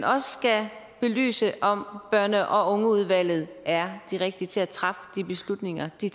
også skal belyse om børn og ungeudvalget er de rigtige til at træffe de beslutninger de